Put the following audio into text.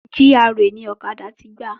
GRA ni ọ̀kadà ti gba